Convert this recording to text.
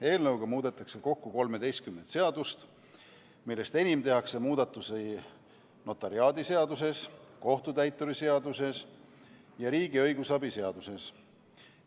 Eelnõuga kavatsetakse muuta kokku 13 seadust, millest enim tehakse muudatusi notariaadiseaduses, kohtutäituri seaduses ja riigi õigusabi seaduses.